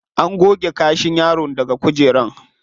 An goge kashin yaron daga kujerar.